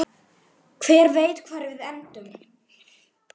Hver veit hvar við endum?